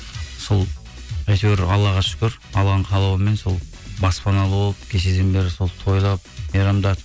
сол әйтеуір аллаға шүкір алланың қалауымен сол баспаналы болып кешеден бері сол тойлап мейрамдатып